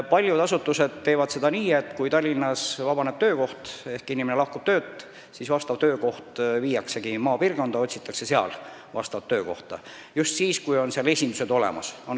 Paljud asutused teevad nii, et kui Tallinnas vabaneb töökoht ehk inimene lahkub töölt, siis viiakse see töökoht maapiirkonda või otsitakse seal vastavat töökohta, eriti kui seal on esindus olemas.